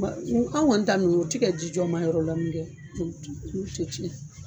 an' ŋɔni ta ninnu u ti ka jijɔ marayɔrɔ dɔn dɛ